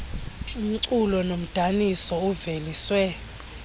umculo nomdaniso uveliswe